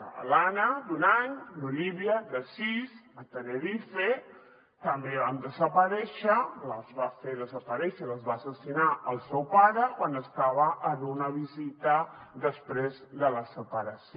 l’anna d’un any l’olivia de sis a tenerife també van desaparèixer les va fer desaparèixer les va assassinar el seu pare quan estava en una visita després de la separació